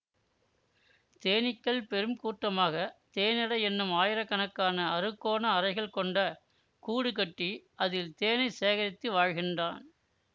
தேனீக்கள் பெருங்கூட்டமாக தேனடை என்னும் ஆயிரக்கணக்கான அறுகோண அறைகள் கொண்ட கூடு கட்டி அதில் தேனை சேகரித்து வாழ்கின்றான்